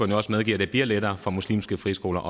jo også medgive at det bliver lettere for muslimske friskoler